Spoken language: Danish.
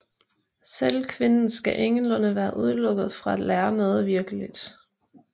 Selv kvinden skal ingenlunde være udelukket fra at lære noget virkeligt